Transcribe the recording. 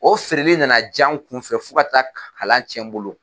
O feereli nana ja n kunfɛ fo ka taa kalan cɛn n bolo.